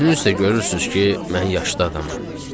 Özünüz də görürsünüz ki, mən yaşlı adamam.